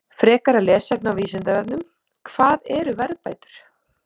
Frekara lesefni á Vísindavefnum: Hvað eru verðbætur?